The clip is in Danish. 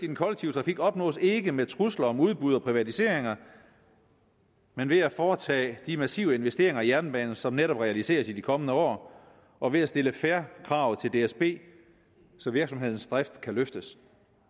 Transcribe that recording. den kollektive trafik opnås ikke med trusler om udbud og privatiseringer men ved at foretage de massive investeringer i jernbanen som netop realiseres i de kommende år og ved at stille fair krav til dsb så virksomhedens drift kan løftes